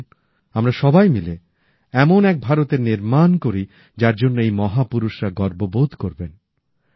আসুন আমরা সবাই মিলে এমন এক ভারতের নির্মাণ করি যার জন্য এই মহাপুরুষরা গর্ববোধ করবেন